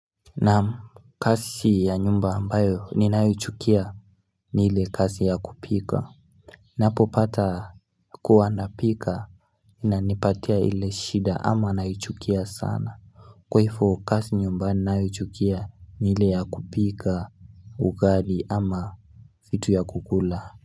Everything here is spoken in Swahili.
Naam kazi ya nyumba ambayo ninayoichukia ni ile kazi ya kupika Ninapopata kuwa napika inanipatia ile shida ama naichukia sana Kwa hivyo kazi nyumba ninayochukia ni ile ya kupika ugali ama vitu ya kukula.